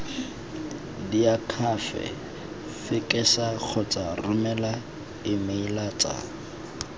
diakhaefe fekesa kgotsa romela emeilatsa